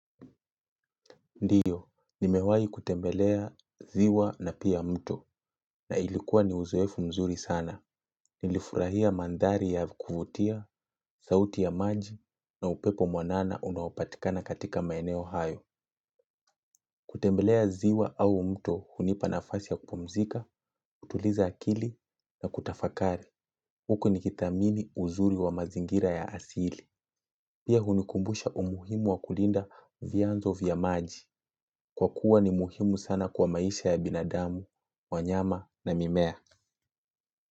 Ndiyo, nimewai kutembelea ziwa na pia mto na ilikuwa ni uzoefu mzuri sana. Nilifurahia mandhari ya kufutia, sauti ya maji na upepo mwanana unaopatikana katika maeneo hayo. Kutembelea ziwa au mto hunipanafasi ya kupumzika, kutuliza akili na kutafakari. Huko ni kithamini uzuri wa mazingira ya asili. Pia hunikumbusha umuhimu wa kulinda vianzo vya maji. Kwa kuwa ni muhimu sana kwa maisha ya binadamu, wanyama na mimea.